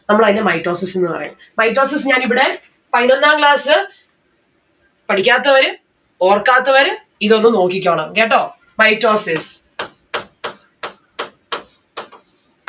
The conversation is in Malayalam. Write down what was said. നമ്മൾ അയിനെ mitosis എന്ന് പറയും. mitosis ഞാൻ ഇവിടെ പൈനൊന്നാം class പഠിക്കാത്തവര് ഓർക്കാത്തവര് ഇതൊന്ന് നോക്കിക്കോണം കേട്ടോ? mitosis